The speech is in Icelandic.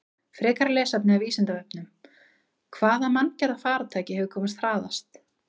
Frekara lesefni af Vísindavefnum: Hvaða manngerða farartæki hefur komist hraðast?